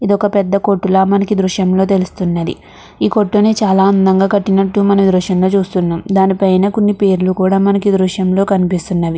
ఇదొక పెద్ద కొట్టుల మనకి ఈ దృశ్యం లో తెలుస్తున్నది ఈ కొట్టుని చాలా అందం గ కట్టినట్టు మనం ఈ దృశ్యం లో చూస్తునామ్ దాని పైన కొన్ని పేర్లు కూడా మనకి ఈ ధృధ్యం లో కనిపిస్తుంది .